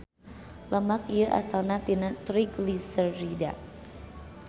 Lemak ieu asalna tina trigliserida.